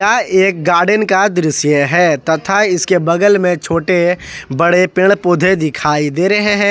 एक गार्डन का दृश्य है तथा इसके बगल में छोटे बड़े पेड़ पौधे दिखाई दे रहे हैं।